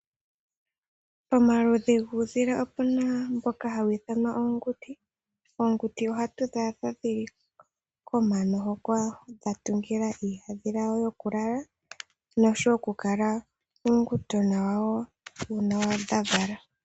Omaludhi guudhila opuna mboka hawu ithanwa oonguti. Oonguti ohadhi adhika dhili komano hoka dhatungila iihandhila yadho yokulala, noshowo okukala uunguti wawo, uuna dha vala.